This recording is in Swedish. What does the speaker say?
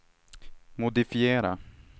modifiera